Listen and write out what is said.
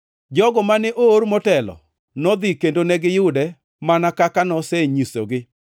Jogo mane oor motelo nodhi kendo negiyude mana kaka nosenyisogi